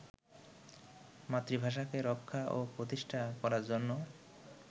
মাতৃভাষাকে রক্ষা ও প্রতিষ্ঠা করার জন্য